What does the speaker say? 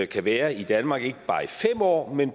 kan være i danmark i ikke bare fem år men